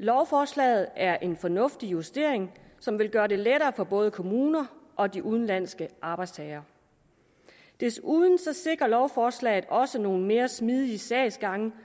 lovforslaget er en fornuftig justering som vil gøre det lettere for både kommuner og de udenlandske arbejdstagere desuden sikrer lovforslaget også nogle mere smidige sagsgange